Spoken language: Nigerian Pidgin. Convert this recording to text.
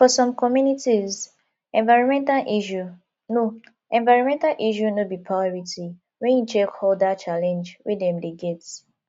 for some communities environmental issue no environmental issue no be priority when you check oda challenge wey dem dey get